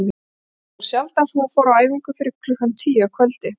Það var sjaldan sem hún fór á æfingu fyrir klukkan tíu að kvöldi.